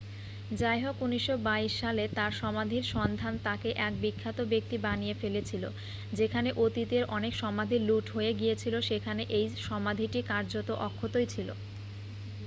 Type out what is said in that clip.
যাইহোক 1922 সালে তাঁর সমাধির সন্ধান তাকে এক বিখ্যাত ব্যক্তি বানিয়ে ফেলেছিল যেখানে অতীতের অনেক সমাধি লুট হয়ে গিয়েছিল সেখানে এই সমাধিটি কার্যত অক্ষতই ছিল